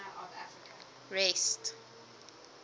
rest